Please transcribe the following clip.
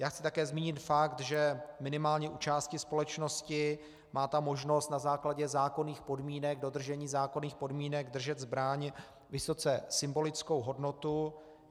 Já chci také zmínit fakt, že minimálně u části společnosti má ta možnost na základě zákonných podmínek, dodržení zákonných podmínek držet zbraň vysoce symbolickou hodnotu.